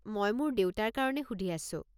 মই মোৰ দেউতাৰ কাৰণে সুধি আছোঁ।